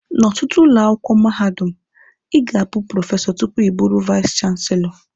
N'ọtụtụ ụlọ akwụkwọ mahadum, Ị ga-abụ prọfesọ tupu ịbụrụ vais chanselọ.